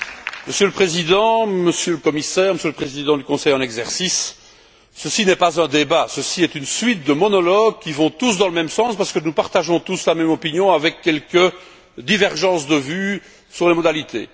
Monsieur le Président, Monsieur le Commissaire, Monsieur le Président du Conseil en exercice, ceci n'est pas un débat, ceci est une suite de monologues qui vont tous dans le même sens, parce que nous partageons tous la même opinion avec quelques divergences de vues sur les modalités.